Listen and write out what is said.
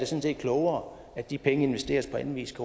set klogere at de penge investeres på anden vis